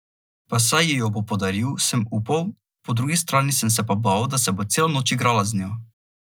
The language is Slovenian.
Pa saj ji jo bo podaril, sem upal, po drugi strani sem se pa bal, da se bo celo noč igrala z njo.